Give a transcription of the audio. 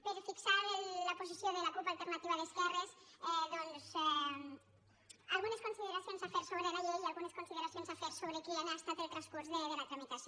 per fixar la posició de la cup alternativa d’esquerres algunes consideracions a fer sobre la llei i algunes consideracions a fer sobre quin ha estat el transcurs de la tramitació